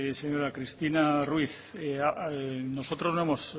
señora cristina ruiz nosotros no hemos